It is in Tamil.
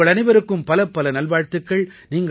உங்கள் அனைவருக்கும் பலப்பல நல்வாழ்த்துக்கள்